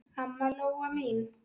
Amma Lóa mín.